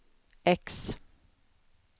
X